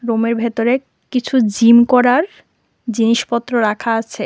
রুমের ভেতরে কিছু জিম করার জিনিসপত্র রাখা আছে।